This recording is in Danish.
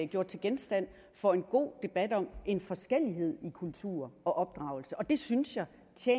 gjort til genstand for en god debat om forskellighed i kulturer og opdragelse og det synes jeg